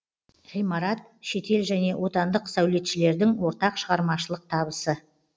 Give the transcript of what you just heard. ғимарат шетел және отандық сәулетшілердің ортақ шығармашылық табысы